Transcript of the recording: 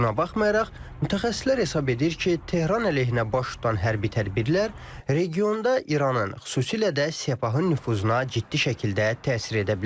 Buna baxmayaraq, mütəxəssislər hesab edir ki, Tehran əleyhinə baş tutan hərbi tədbirlər regionda İranın, xüsusilə də Sepahın nüfuzuna ciddi şəkildə təsir edə bilər.